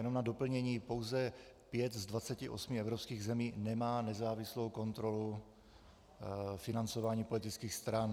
Jenom na doplnění - pouze 5 z 28 evropských zemí nemá nezávislou kontrolu financování politických stran.